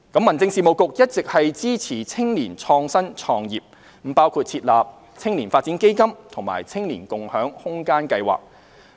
民政事務局一直支持青年創新創業，包括設立"青年發展基金"及"青年共享空間計劃"。